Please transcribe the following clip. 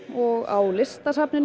og á Listasafni